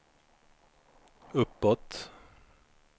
uppåt